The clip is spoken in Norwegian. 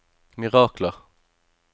mirakler